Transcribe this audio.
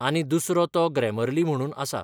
आनी दुसरो तो ग्रॅमर्ली म्हणून आसा.